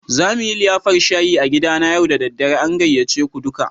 Za mu yi liyafar shayi a gidana yau da dare. An gayyace ku duka.